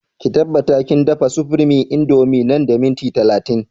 Ki tabbata kin dafa supreme indomie nan da minti talatin!